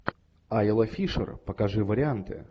айла фишер покажи варианты